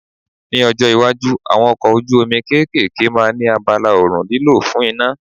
Ní ọjọ́ iwájú, àwọn ọkọ̀ ojú omi kéékèèké máa ní abala oòrùn lílò fún iná.